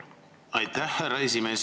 Aitäh, härra esimees!